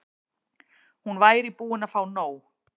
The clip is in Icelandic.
Hún væri búin að fá nóg.